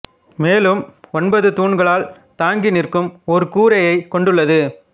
மேலும் ஒன்பது தூண்களால் தான்கி நிற்கும் ஒரு கூரையைக் கொண்டுள்ளது